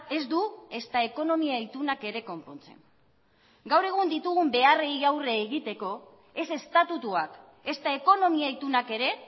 ez du ezta ekonomia itunak ere konpontzen gaur egun ditugun beharrei aurre egiteko ez estatutuak ezta ekonomia itunak ere